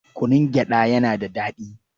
Kunun gyaɗa yana da daɗi.